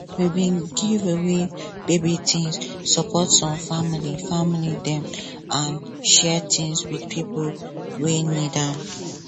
we bin give away baby things support some family family dem and share things with pipo wey need am